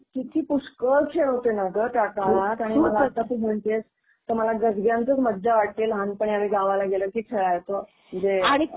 Okay. किती पुष्कळ खेळ होते ना ग त्या काळात आणि मला आता तू म्हणतीयेस तर मला गाजग्यांचच मज्जा वाटतीये लहानपणी आम्ही गावाला गेलो की खेळायचो म्हणजे.